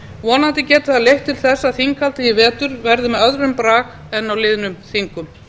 vonandi getur það leitt til þess að þinghaldið í vetur verði með öðrum brag en á liðnum þingum